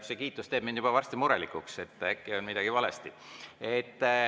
See kiitus teeb mind juba varsti murelikuks, et äkki on midagi valesti.